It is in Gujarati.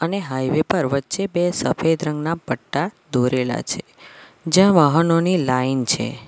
અને હાઇવે પર વચ્ચે બે સફેદ રંગના પટ્ટા દોરેલા છે જ્યાં વાહનોની લાઈન છે.